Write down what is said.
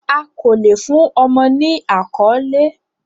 A ko le fun ọmọ ni akọle